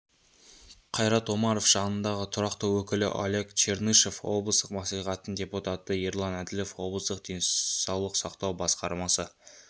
қайрат омаров жанындағы тұрақты өкілі олег чернышов облыстық мәслихаттың депутаты ерлан әділіов облыстық денсаулық сақтау басқармасы